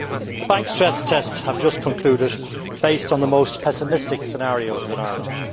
The bank stress tests have just concluded, based on the most pessimistic scenarios in Ireland.